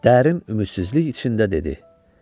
Dərin ümidsizlik içində dedi: